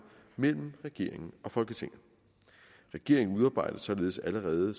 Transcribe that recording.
mellem regeringen og folketinget regeringen udarbejder således allerede